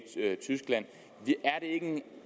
tyskland